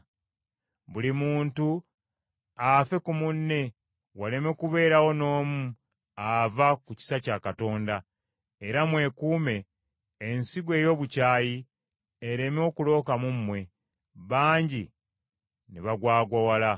Buli muntu afe ku munne waleme kubeerawo n’omu ava mu kisa kya Katonda, era mwekuume ensigo ey’obukyayi ereme okuloka mu mmwe, bangi ne bagwagwawala.